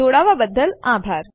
જોડવા બદલ આભાર